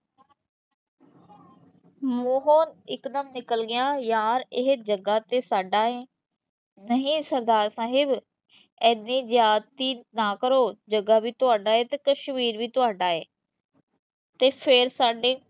ਮੂੰਹੋਂ ਇਕਦਮ ਨਿਕਲ ਗਿਆ, ਯਾਰ ਇਹ ਜੱਗਾ ਤੇ ਸਾਡਾ ਏ, ਨਹੀਂ ਸਰਦਾਰ ਸਾਹਿਬ, ਇੰਨੀ ਜ਼ਿਆਦਤੀ ਨਾ ਕਰੋ, ਜੱਗਾ ਵੀ ਤੁਹਾਡਾ ਤੇ ਕਸ਼ਮੀਰ ਵੀ ਤੁਹਾਡਾ ਏ ਤੇ ਫਿਰ ਸਾਡੇ